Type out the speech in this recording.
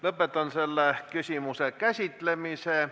Lõpetan selle küsimuse käsitlemise.